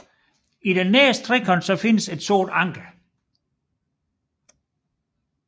I den nedre trekant findes et sort anker